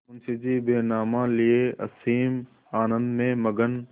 मुंशीजी बैनामा लिये असीम आनंद में मग्न